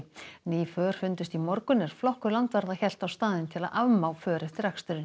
ný för fundust í morgun er flokkur landvarða hélt á staðinn til að afmá för eftir aksturinn